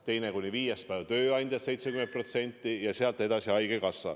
Teine kuni viies päev maksaksid tööandjad 70% ja sealt edasi haigekassa.